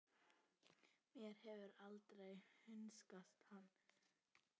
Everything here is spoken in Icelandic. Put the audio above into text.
Mér hefur aldrei hugnast hann.